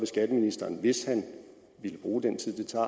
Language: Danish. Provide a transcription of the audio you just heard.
skatteministeren hvis han ville bruge den tid det tager